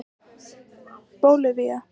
Bólivía